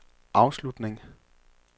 afslutning